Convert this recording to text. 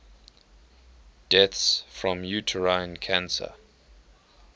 deaths from uterine cancer